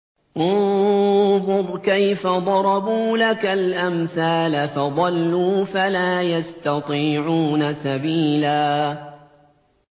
انظُرْ كَيْفَ ضَرَبُوا لَكَ الْأَمْثَالَ فَضَلُّوا فَلَا يَسْتَطِيعُونَ سَبِيلًا